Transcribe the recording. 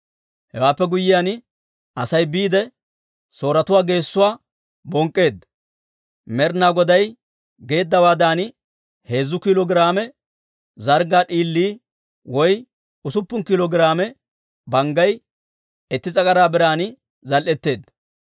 Hewaappe guyyiyaan, Asay biide, Sooretuwaa geesuwaa bonk'k'eedda. Med'ina Goday geeddawaadan heezzu kiilo giraame zarggaa d'iilii woy usuppun kiilo giraame banggay itti s'agaraa biran zal"etteedda.